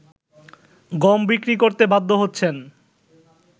গম বিক্রি করতে বাধ্য হচ্ছেন